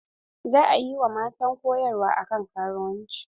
Za a yi wa matan koyarwa akan karuwanci.